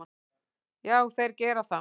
Já, þeir gera það.